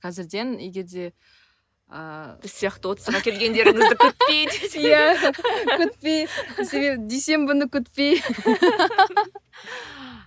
қазірден егерде ыыы біз сияқты отызға келгендеріңізді күтпей десей иә күтпей дүйсенбіні күтпей